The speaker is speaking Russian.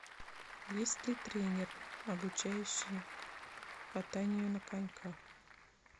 есть ли тренер обучающий катанию на коньках